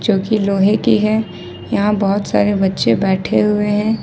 जोकि लोहे की है यहां बहुत सारे बच्चे बैठे हुए हैं।